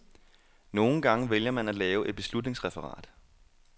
Nogle gange vælger man at lave et beslutningsreferat.